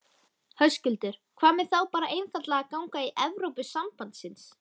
Höskuldur: Hvað með þá bara einfaldlega að ganga í Evrópusambandsins?